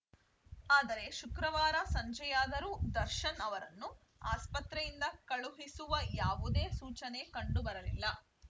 ಆದರೆ ಶುಕ್ರವಾರ ಸಂಜೆಯಾದರೂ ದರ್ಶನ್‌ ಅವರನ್ನು ಆಸ್ಪತ್ರೆಯಿಂದ ಕಳುಹಿಸುವ ಯಾವುದೇ ಸೂಚನೆ ಕಂಡು ಬರಲಿಲ್ಲ